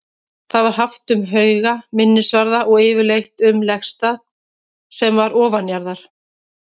Það var haft um hauga, minnisvarða og yfirleitt um legstað sem var ofanjarðar.